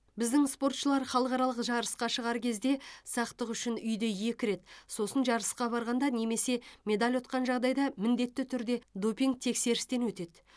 біздің спортшылар халықаралық жарысқа шығар кезде сақтық үшін үйде екі рет сосын жарысқа барғанда немесе медаль ұтқан жағдайда міндетті түрде допинг тексерістен өтеді